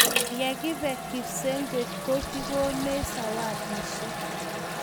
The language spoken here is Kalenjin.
tun lakibe kipsengwet ko kigonech sawadishek